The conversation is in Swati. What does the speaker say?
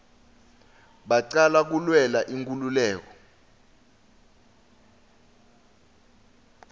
bacala kulwela inkululeko